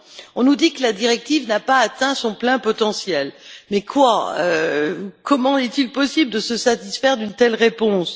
On nous dit que la directive n'a pas atteint son plein potentiel, mais comment est il possible de se satisfaire d'une telle réponse?